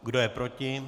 Kdo je proti?